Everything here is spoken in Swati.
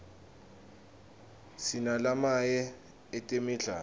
sinalamaye etemidlalo